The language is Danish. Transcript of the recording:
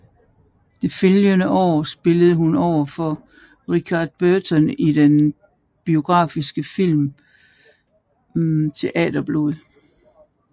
Det følgende år spillede hun overfor Richard Burton i den biografiske film Teaterblod